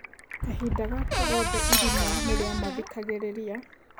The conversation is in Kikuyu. Kahinda gaka gothe irimũ nĩrĩamathikagĩrĩria.